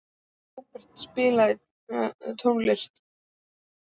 Robert, spilaðu tónlist.